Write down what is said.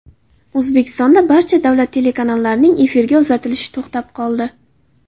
O‘zbekistonda barcha davlat telekanallarining efirga uzatilishi to‘xtab qoldi.